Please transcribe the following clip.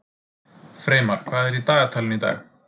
Freymar, hvað er í dagatalinu í dag?